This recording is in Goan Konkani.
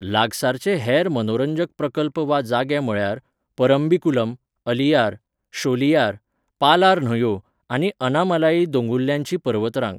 लागसारचे हेर मनोरंजक प्रकल्प वा जागे म्हळ्यार परम्बिकुलम, अलियार, शोलियार, पालार न्हंयो आनी अनामालाई दोंगुल्ल्यांचीपर्वतरांग.